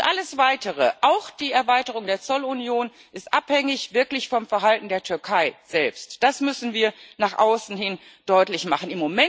Alles weitere auch die Erweiterung der Zollunion ist wirklich abhängig vom Verhalten der Türkei selbst, das müssen wir nach außen hin deutlich machen.